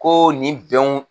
Ko nin bɛnw